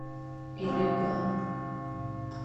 илиган